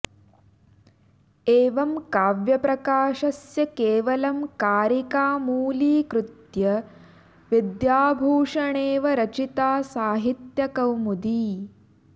एवं काव्यप्रकाशस्य केवलं कारिका मूलीकृत्य विद्याभूषणेव रचिता साहित्यकौमुदी